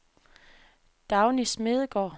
Dagny Smedegaard